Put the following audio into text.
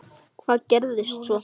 Hvað gerðist svo?